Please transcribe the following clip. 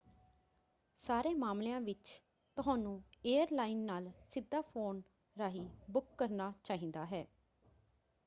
ਸਾਰੇ ਮਾਮਲਿਆਂ ਵਿੱਚ ਤੁਹਾਨੂੰ ਏਅਰਲਾਈਨ ਨਾਲ ਸਿੱਧਾ ਫ਼ੋਨ ਰਾਹੀਂ ਬੁੱਕ ਕਰਨਾ ਚਾਹੀਦਾ ਹੈ।